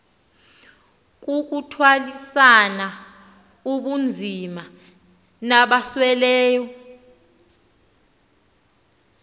kukuthwalisana ubunzima nabasweleyo